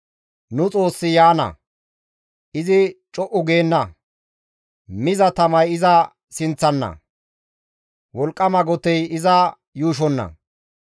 Nu Xoossi yaana; izi co7u geenna. Miza tamay iza sinththana; wolqqama gotey iza yuushonna.